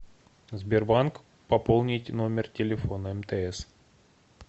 сбербанк пополнить номер телефона мтс